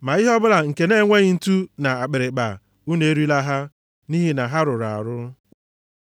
ma ihe ọbụla nke na-enweghị ntu na akpịrịkpa, unu erila ha, nʼihi na ha rụrụ arụ.